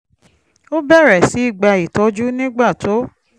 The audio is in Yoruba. ó bẹ̀rẹ̀ sí í gba ìtọ́jú nígbà tó